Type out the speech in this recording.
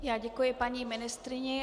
Já děkuji paní ministryni.